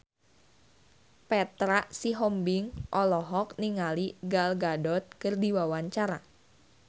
Petra Sihombing olohok ningali Gal Gadot keur diwawancara